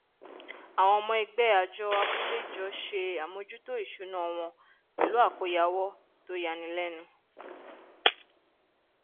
àwọn ọmọ ẹgbẹ àjọ abúlé jọ ṣe àmójútó ìṣúná wọn pẹlú àkóyawọ tó yani lẹnu